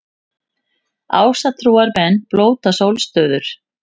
Ásatrúarmenn blóta sólstöður